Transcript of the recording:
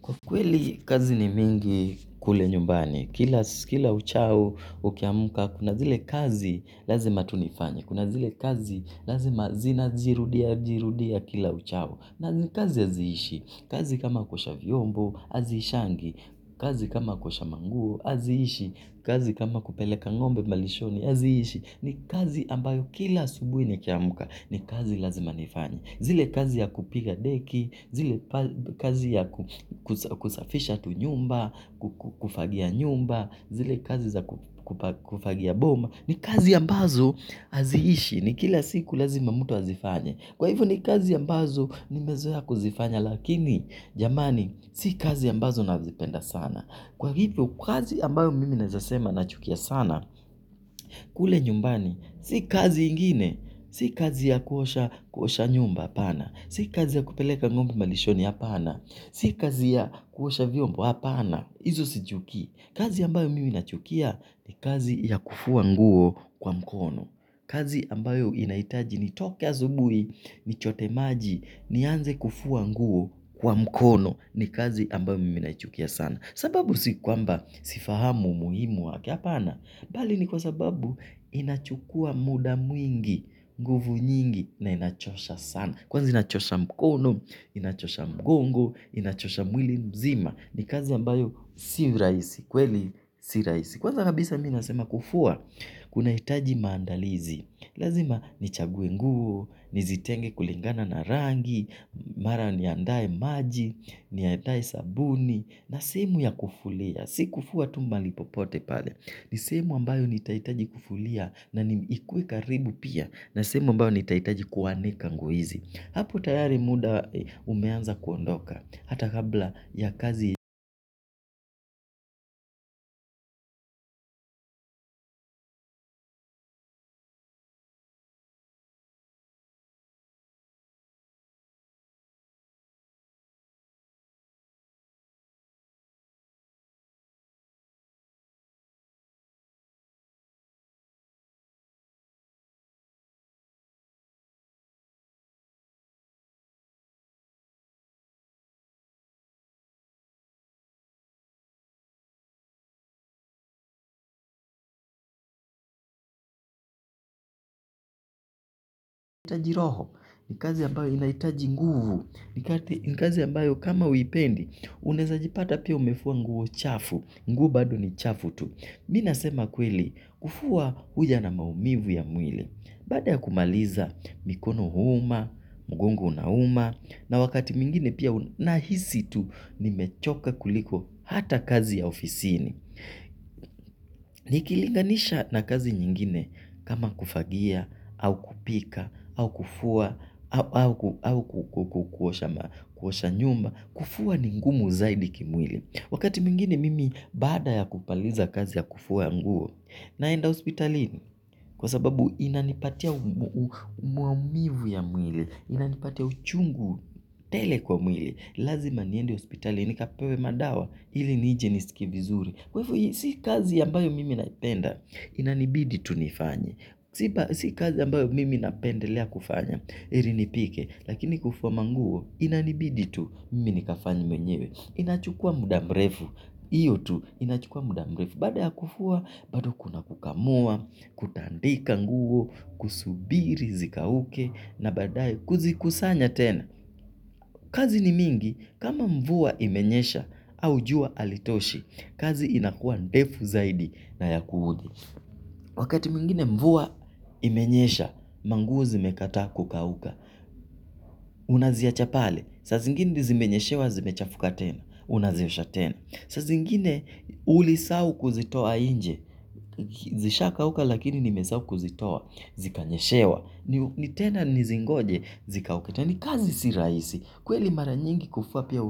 Kwa kweli kazi ni mingi kule nyumbani, kila uchao ukiamka, kuna zile kazi lazima tunifanya, kuna zile kazi lazima zirudia, jirudia kila uchao, na kazi aziishi, kazi kama kuosha viombo, azishangi, kazi kama kuosha manguo, aziishi, kazi kama kupeleka ng'ombe malishoni, hazishi, ni kazi ambayo kila hasubuhi ni kiamka, ni kazi lazima nifanye. Zile kazi ya kupiga deki, zile kazi ya kusafisha tu nyumba, kufagia nyumba, zile kazi za kufagia boma. Ni kazi ya ambazo haziishi ni kila siku lazima mtu azifanye. Kwa hivyo ni kazi ya ambazo ni mezoea kuzifanya lakini jamani si kazi ambazo nazipenda sana. Kwa hivyo, kazi ambayo mimi nawezasema na chukia sana, kule nyumbani, si kazi ingine, si kazi ya kuosha nyumba apana, si kazi ya kupeleka ng'ombe malishoni apana, si kazi ya kuosha vyombo apana, izu si chukii. Kazi ambayo mimi nachukia ni kazi ya kufua nguo kwa mkono. Kazi ambayo inahitaji ni toke asubuhi, ni chote maji, ni anze kufua nguo kwa mkono ni kazi ambayo mimi naichukia sana. Sababu si kwamba sifahamu muhimu waki hapana. Bali ni kwa sababu inachukua muda mwingi, nguvu nyingi na inachosha sana. Kwanza inachosha mkono, inachosha mgongo, inachosha mwili mzima. Ni kazi ambayo si rahisi, kweli si rahisi. Kwanza kabisa mimi nasema kufua, kuna hitaji maandalizi. Lazima ni chague nguo, nizitenge kulingana na rangi, mara ni andae maji, niandae sabuni. Na sehemu ya kufulia si kufua tu mahali popote pale ni sehemu ambayo ni tahitaji kufulia na ni ikuwe karibu pia na sehemu ambayo ni tahitaji kuwanika nguo hizi hapo tayari muda umeanza kuondoka hata kabla ya kazi naitaji roho ni kazi ambayo inaitaji nguvu ni kazi ambayo kama uwipendi unaweza jipata pia umefuwa nguo chafu nguo bado ni chafu tu minasema kweli kufua huja na maumivu ya mwili. Bada ya kumaliza mikono huuma, mgongo una uma, na wakati mwingine pia na hisi tu nimechoka kuliko hata kazi ya ofisini. Nikilinganisha na kazi nyingine kama kufagia, au kupika, au kufua, au kuosha nyumba, kufua ningumu zaidi kimwili. Wakati mwingine mimi baada ya kumaliza kazi ya kufua nguo, naenda hospitalini kwa sababu inanipatia umaumivu ya mwili, inanipatia uchungu tele kwa mwili, lazima niendi hospitalini, nikapewe madawa, ili nije nisikie vizuri. Kwahivo, si kazi ambayo mimi naipenda, inanibidi tu nifanye. Sipa, si kazi ambayo mimi napendelea kufanya, ilinipike, lakini kufua manguo, inanibidi tu, mimi nikafanye mwenyewe. Inachukua mudamrefu, iyo tu, inachukua mudamrefu. Baada ya kufua, bado kuna kukamua, kutandika nguo, kusubiri zikauke, na badae kuzikusanya tena. Kazi ni mingi, kama mvua imenyesha au jua alitoshi, kazi inakuwa ndefu zaidi na ya kuhudhi. Wakati mwingine mvua imenyesha, manguo zimekata kukauka. Unaziachapale, sa zingine zimenyeshewa zimechafuka tena, unaziosha tena. Sazingine uli sahau kuzitoa inje, zisha kauka lakini nimesahau kuzitoa, zikanyeshewa. Ni tena nizingoje, zikauketa. Na ni kazi si rahisi, kweli mara nyingi kufua pia